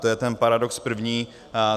To je ten paradox první.